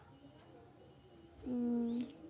উম